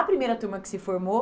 A primeira turma que se formou